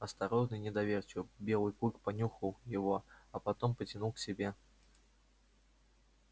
осторожно и недоверчиво белый клык понюхал его а потом потянул к себе